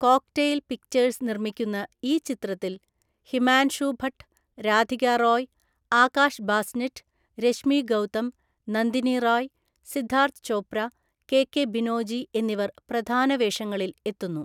Cocktail Pictures നിർമ്മിക്കുന്ന ഈ ചിത്രത്തിൽ ഹിമാൻഷു ഭട്ട്, രാധിക റോയ്, ആകാഷ് ബാസ്നെറ്റ്, രശ്മി ഗൗതം, നന്ദിനി റായ്, സിദ്ധാർത്ഥ് ചോപ്ര, കെകെ ബിനോജി എന്നിവർ പ്രധാന വേഷങ്ങളിൽ എത്തുന്നു.